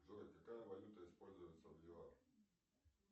джой какая валюта используется в юар